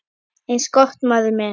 Eins gott, maður minn